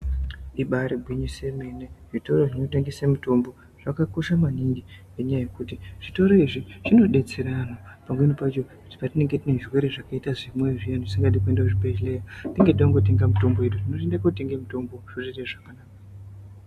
Ibari gwinyiso yemene zvitoro zvinotengese mitombo zvakakosha maningi ngenyaya yekuti zvitoro izvi zvinodetsera anhu pamweni pacho patinenge time zvirwere zvakaita zvemwoyo zviyani zvisingadi kuende kuzvibhedhlera tinge teingotenga mitombo yedu, tinongoende kotenge mitombo zvotoite zvakanaka.